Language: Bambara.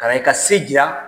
Kana i ka se jiya